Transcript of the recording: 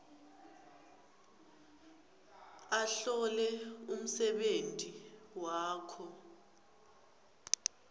ahlole umsebenti wakhe